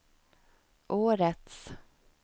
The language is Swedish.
årets